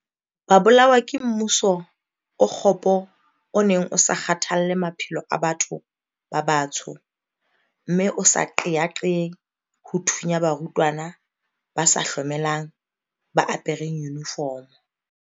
Ba bolawa ke mmuso o kgopo o neng o sa kgathalle maphelo a batho ba batsho mme o sa qeaqee ho thunya barutwana ba sa hlomelang ba apereng yunifomo.